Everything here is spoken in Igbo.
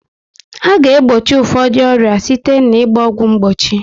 A ga egbochi ụfọdụ ọrịa site na ịgba ọgwụ mgbochi